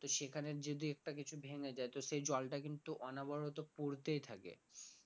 তো সেখানে যদি একটা কিছু ভেঙে যাই তো সেই জলটা কিন্তু অনবরত পড়তেই থাকে